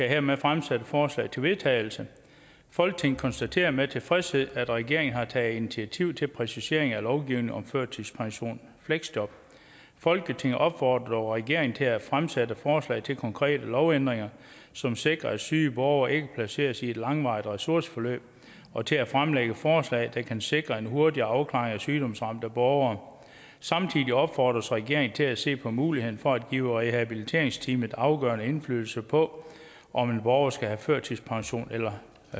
hermed fremsætte forslag til vedtagelse folketinget konstaterer med tilfredshed at regeringen har taget initiativ til præciseringer af lovgivningen om førtidspension og fleksjob folketinget opfordrer dog regeringen til at fremsætte forslag til konkrete lovændringer som sikrer at syge borgere ikke placeres i et langvarigt ressourceforløb og til at fremlægge forslag der kan sikre en hurtigere afklaring af sygdomsramte borgere samtidig opfordres regeringen til at se på muligheden for at give rehabiliteringsteamet afgørende indflydelse på om en borger skal have førtidspension eller